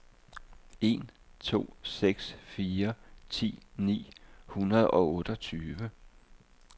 en to seks fire ti ni hundrede og otteogtyve